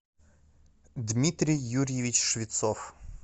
дмитрий юрьевич швецов